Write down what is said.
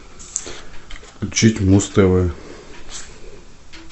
включить муз тв